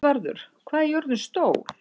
Játvarður, hvað er jörðin stór?